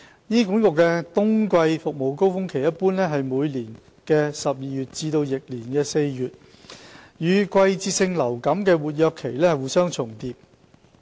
醫管局的冬季服務高峰期一般為每年12月至翌年4月，與季節性流感的活躍期互相重疊。